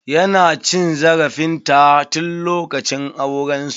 Ya na cin zarafin ta tun lokacin auren su.